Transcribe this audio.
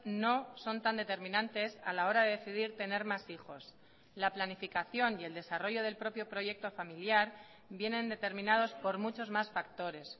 no son tan determinantes a la hora de decidir tener más hijos la planificación y el desarrollo del propio proyecto familiar vienen determinados por muchos más factores